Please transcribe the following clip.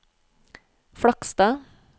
Flakstad